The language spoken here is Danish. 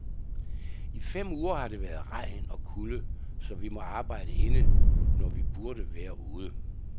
I fem uger har det været regn og kulde, så vi må arbejde inde, når vi burde være ude.